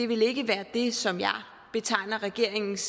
vil ikke være det som jeg vil betegne regeringens